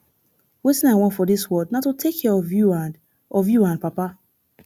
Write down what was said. wetin i want for dis world na to take care of you and of you and papa